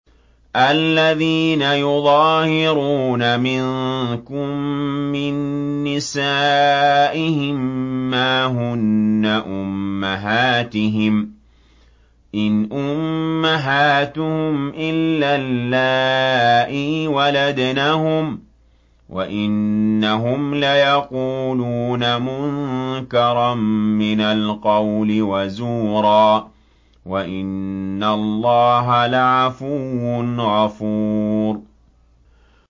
الَّذِينَ يُظَاهِرُونَ مِنكُم مِّن نِّسَائِهِم مَّا هُنَّ أُمَّهَاتِهِمْ ۖ إِنْ أُمَّهَاتُهُمْ إِلَّا اللَّائِي وَلَدْنَهُمْ ۚ وَإِنَّهُمْ لَيَقُولُونَ مُنكَرًا مِّنَ الْقَوْلِ وَزُورًا ۚ وَإِنَّ اللَّهَ لَعَفُوٌّ غَفُورٌ